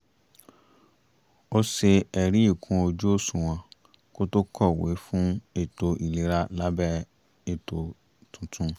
ó ṣe ẹ̀rí ikún ojú òṣuwọ̀n kó tó kọ̀wé fún ètò ìlera lábẹ́ ètò tuntun